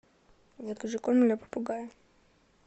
закажи корм для попугая